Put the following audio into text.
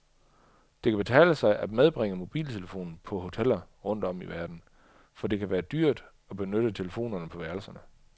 Det kan betale sig at medbringe mobiltelefonen på hoteller rundt om i verden, for det kan være dyrt at benytte telefonerne på værelserne.